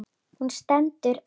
Hún stendur enn.